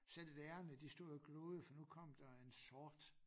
Selv lærerne de stod og gloede for nu kom der en sort